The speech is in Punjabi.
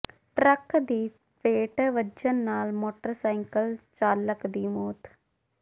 ਟਰੱਕ ਦੀ ਫੇਟ ਵੱਜਣ ਨਾਲ ਮੋਟਰਸਾਈਕਲ ਚਾਲਕ ਦੀ ਮੌਤ